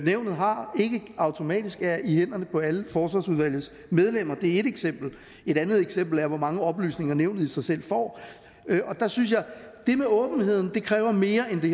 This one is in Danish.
nævnet har ikke automatisk er i hænderne på alle forsvarsudvalgets medlemmer det er et eksempel et andet eksempel er hvor mange oplysninger nævnet i sig selv får og der synes jeg det med åbenheden kræver mere end det